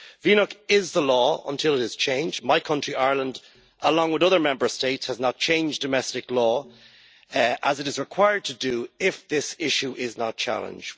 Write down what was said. Vnuk is the law until it is changed. My country, Ireland, along with other Member States, has not changed domestic law, as it is required to do if this issue is not challenged.